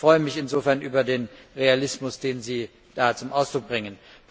Ich freue mich insofern über den Realismus, den Sie da zum Ausdruck bringen.